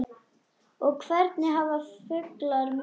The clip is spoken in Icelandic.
og Hvernig hafa fuglar mök?